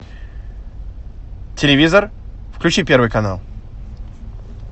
телевизор включи первый канал